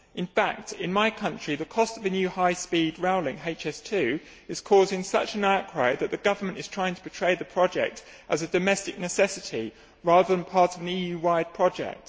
In fact, in my country, the cost of a new high speed rail link HS2 is causing such an outcry that the government is trying to portray the project as a domestic necessity, rather than part of an EU wide project.